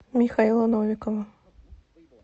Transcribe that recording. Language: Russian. михаила новикова